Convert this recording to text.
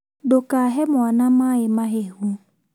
Ndũkahe mwana maĩ mahehu